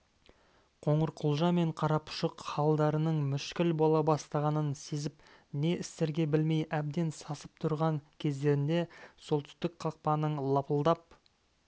қоңырқұлжа мен қарапұшық халдарының мүшкіл бола бастағанын сезіп не істерге білмей әбден сасып тұрған кездерінде солтүстік қақпаның лапылдап